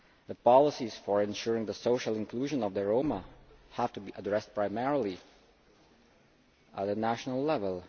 The policies for ensuring the social inclusion of the Roma have to be addressed primarily at national level.